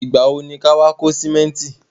Ìgbà wo ni ka wá kó sìmẹ́ntì?